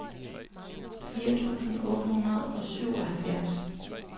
firs tusind otte hundrede og syvoghalvfjerds